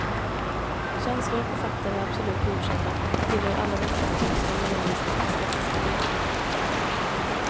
Känslor och författare är absolut godkända, tillhör alla den högsta moraliska och estetiska divisionen.